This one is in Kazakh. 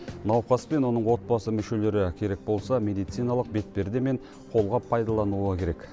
науқас пен оның отбасы мүшелері керек болса медициналық бетперде мен қолғап пайдалануы керек